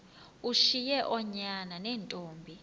ushiye oonyana neentombi